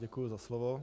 Děkuji za slovo.